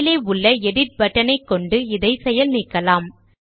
மேலே உள்ள எடிட் பட்டனைக்கொண்டு இதை செயல் நீக்கலாம்